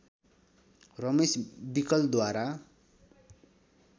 Ramesh विकलद्वारा